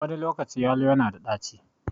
Wani lokaci yalo na da ɗaci.